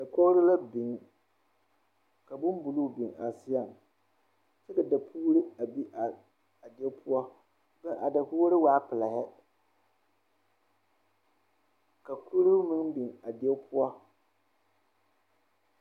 Dakogro la biŋ ka boŋbuluu a biŋ a seɛŋ kyɛ ka dapuure a be a die poɔ a dakogro waa pile ka kuroo meŋ biŋ a die poɔ.